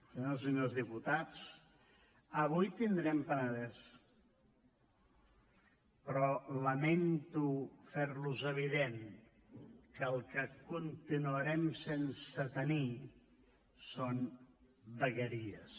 senyores i senyors diputats avui tindrem penedès però lamento fer los evident que el que continuarem sense tenir són vegueries